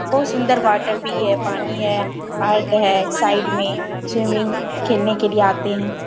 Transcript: बहुत सुंदर वाटर भी है पानी है पार्क है साइड में स्विमिंग खेलने के लिए आते है ।